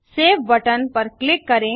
save button पर click करें